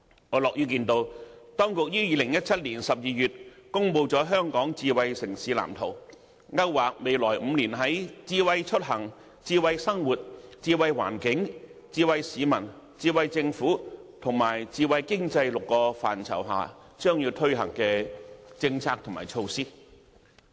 我樂見當局於2017年12月公布了《香港智慧城市藍圖》，勾劃未來5年在智慧出行、智慧生活、智慧環境、智慧市民、智慧政府及智慧經濟6個範疇將要推行的政策及措施。